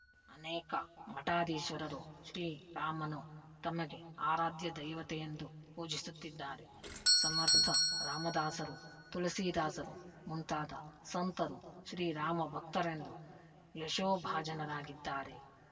ಅನೇಕ ಮಠಾಧೀಶ್ವರರು ಶ್ರೀರಾಮನು ತಮಗೆ ಆರಾಧ್ಯ ದೈವತೆಯೆಂದು ಪೂಜಿಸುತ್ತಿದ್ದಾರೆ ಸಮರ್ತ ರಾಮದಾಸರು ತುಲಸೀದಾಸರು ಮುಂತಾದ ಸಂತರು ಶ್ರೀರಾಮ ಭಕ್ತರೆಂದು ಯಶೋಭಾಜನರಾಗಿದ್ದಾರೆ